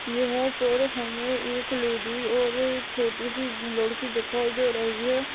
यहाँ पर हमें यहाँ एक लेडीज और एक छोटी-सी लड़की दिखाई दे रही है।